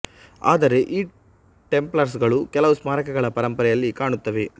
ಆದರೆ ಈ ಟೆಂಪ್ಲರ್ಸ್ ಗಳು ಕೆಲವು ಸ್ಮಾರಕಗಳ ಪರಂಪರೆಯಲ್ಲಿ ಕಾಣುತ್ತವೆ